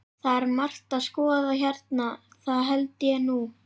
Það er margt að skoða hérna, það held ég nú.